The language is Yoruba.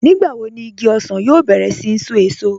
Nígbàwò ní ìgí òṣan yóò bẹ̀rẹ̀ sí ṣó èṣọ̀?